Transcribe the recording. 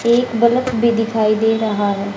एक बलफ भी दिखाई दे रहा है।